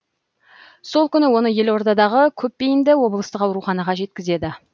сол күні оны елордадағы көпбейінді облыстық ауруханаға жеткізеді